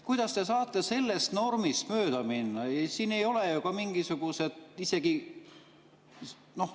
Kuidas te saate sellest normist mööda minna?